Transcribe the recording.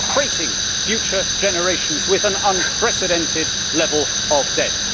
We are freighting future generations with an unprecedented level of debt.